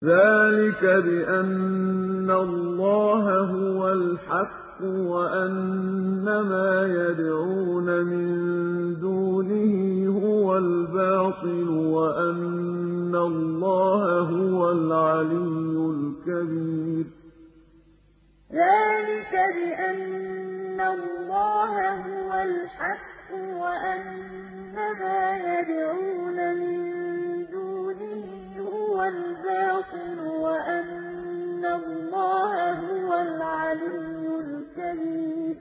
ذَٰلِكَ بِأَنَّ اللَّهَ هُوَ الْحَقُّ وَأَنَّ مَا يَدْعُونَ مِن دُونِهِ هُوَ الْبَاطِلُ وَأَنَّ اللَّهَ هُوَ الْعَلِيُّ الْكَبِيرُ ذَٰلِكَ بِأَنَّ اللَّهَ هُوَ الْحَقُّ وَأَنَّ مَا يَدْعُونَ مِن دُونِهِ هُوَ الْبَاطِلُ وَأَنَّ اللَّهَ هُوَ الْعَلِيُّ الْكَبِيرُ